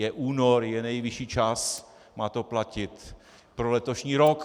Je únor, je nejvyšší čas, má to platit pro letošní rok.